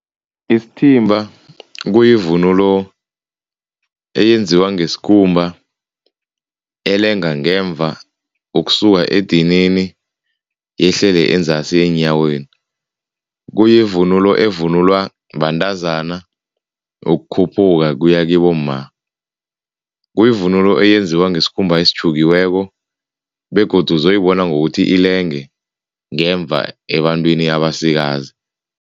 Isithimba kuyivunulo eyenziwa ngesikhumba, elenga ngemva ukusuka edinini yehlele enzasi eenyaweni. Kuyivunulo evunulwa bantazana ukukhuphuka kuya kibomma. Kuyivunulo eyenziwa ngesikhumba esitjhukiweko begodu uzoyibona ngokuthi ilenge ngemva ebantwini abasikazi.